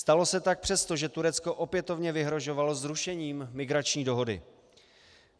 Stalo se tak přesto, že Turecko opětovně vyhrožovalo zrušením migrační dohody.